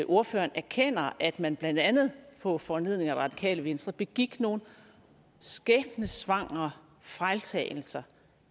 ordføreren erkender at man blandt andet på foranledning af det radikale venstre begik nogle skæbnesvangre fejltagelser